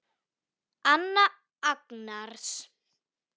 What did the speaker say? Anna Agnars.